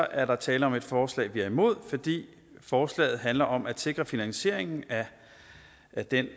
er der tale om et forslag som vi er imod fordi forslaget handler om at sikre finansieringen af den